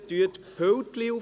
Räumen Sie die Pulte auf.